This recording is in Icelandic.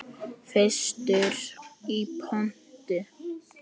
Fyrstur í pontu.